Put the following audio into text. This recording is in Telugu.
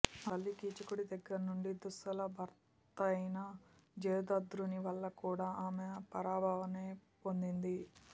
ఆ తల్లి కీచకుడి దగ్గర నుంచి దుస్సల భర్తయైన జయదధ్రుని వల్ల కూడా ఆమె పరావభానే్న పొందింది